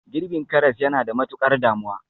Girbin karas yana da matukar damuwa